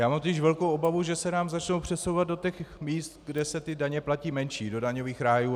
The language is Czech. Já mám totiž velkou obavu, že se nám začnou přesouvat do těch míst, kde se ty daně platí menší, do daňových rájů.